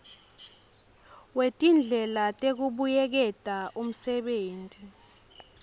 wetindlela tekubuyeketa umsebenti